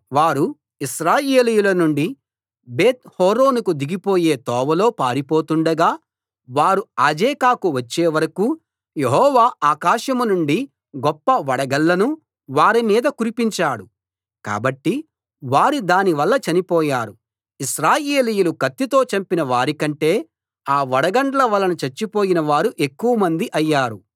వారు ఇశ్రాయేలీయుల నుండి బేత్‌హోరోనుకు దిగిపోయే తోవలో పారిపోతుండగా వారు అజేకాకు వచ్చే వరకూ యెహోవా ఆకాశం నుండి గొప్ప వడగళ్ళను వారి మీద కురిపించాడు కాబట్టి వారు దాని వల్ల చనిపోయారు ఇశ్రాయేలీయులు కత్తితో చంపిన వారికంటే ఆ వడగండ్ల వలన చచ్చినవారు ఎక్కువమంది అయ్యారు